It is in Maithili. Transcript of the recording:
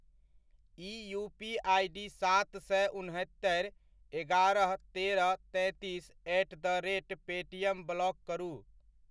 ई यूपीआइ आइडी सात सए, उन्हत्तरि, एगारह, तेरह तैंतीस at the rate Paytm block करू।